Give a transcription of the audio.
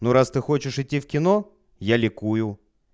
ну раз ты хочешь идти в кино я ликую